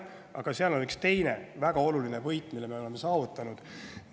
Aga seal on ka üks teine väga oluline võit, mille me oleme saavutanud.